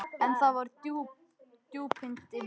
En það voru djúpin dimmu.